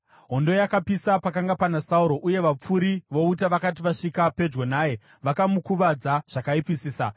Hondo yakapisa pakanga pana Sauro, uye vapfuri vouta vakati vasvika pedyo naye, vakamukuvadza zvakaipisisa.